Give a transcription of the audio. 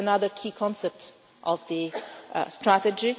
This is another key concept of the strategy.